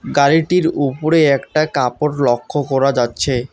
গাড়িটির উপরে একটা কাপড় লক্ষ্য করা যাচ্ছে।